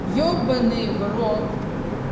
ебанный в рот